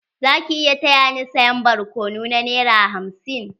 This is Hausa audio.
Za ki iya taya ni saya barkonu na nera hamsin?